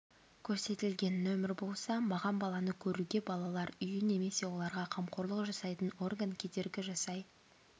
көрсетілген нөмір болса маған баланы көруге балалар үйі немесе оларға қамқорлық жасайтын орган кедергі жасай